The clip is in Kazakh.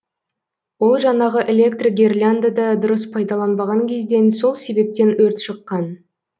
ол жанағы электрогерляндыды дұрыс пайдаланбаған кезден сол себептен өрт шыққан